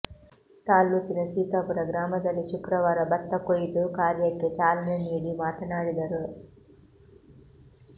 ತಾಲ್ಲೂಕಿನ ಸೀತಾಪುರ ಗ್ರಾಮದಲ್ಲಿ ಶುಕ್ರವಾರ ಭತ್ತ ಕೊಯ್ಲು ಕಾರ್ಯಕ್ಕೆ ಚಾಲನೆ ನೀಡಿ ಮಾತನಾಡಿದರು